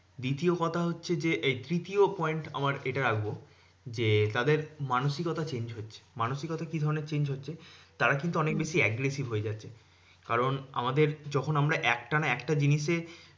দ্বিতীয় কথা হচ্ছে যে, এই তৃতীয় point আমার এটা রাখবো যে, তাদের মানসিকতা change হচ্ছে। মানসিকতা কি ধরণের change হচ্ছে? তারা কিন্তু অনেক বেশি aggressive হয়ে যাচ্ছে। কারণ আমাদের যখন আমরা একটানা একটা জিনিসে